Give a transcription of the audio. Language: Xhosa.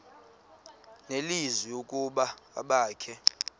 nelizwi ukuba abakhe